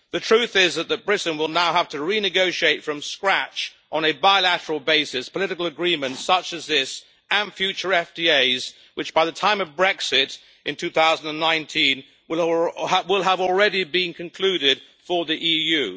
The truth is that Britain will now have to renegotiate from scratch, on a bilateral basis, political agreements such as this and future FTAs which, by the time of Brexit in 2019, will have already been concluded for the EU.